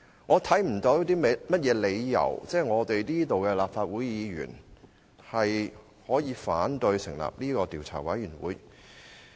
我看不到有何理由，立法會議員反對成立專責委員會。